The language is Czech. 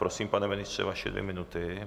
Prosím, pane ministře, vaše dvě minuty.